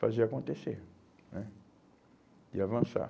fazer acontecer né e avançar.